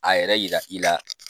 A yɛrɛ yira i la.